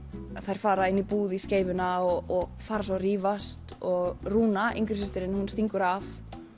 þær fara inn í búð í skeifuna og fara svo að rífast og Rúna yngri systirin hún stingur af